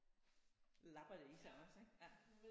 Labber det i sig også ik ja